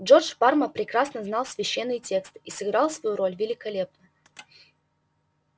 джордж парма прекрасно знал священные тексты и сыграл свою роль великолепно